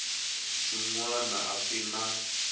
swin wana a swi na